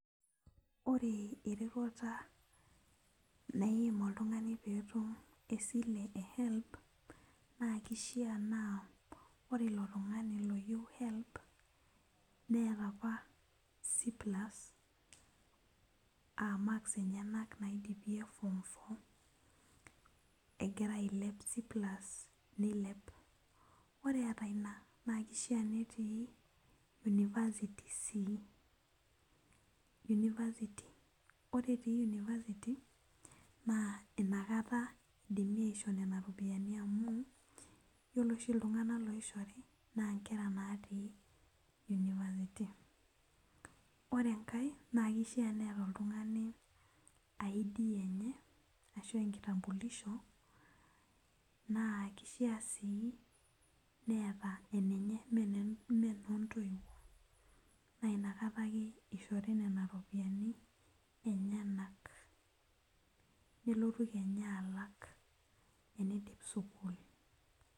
Ore eroruata naaim oltung'ani peetum esiai e health naa keishaa naa ore ilo tung'ani loyieu health neeta apa c plus aa marks enyanak apa naidipie form 4 ore ilo tung'ani naa kiefaa netii University sii ore etii University naa inakata eidimi aishoo nena ropiyiani amu ore oshi iltung'anak oishori naa iltung'anak ootii University ore engar naa keifaa sii neeta id ienye naa kifaa sii neeta enoontoiwuo amu inakata ake esihori nena ropiyiani enyanak.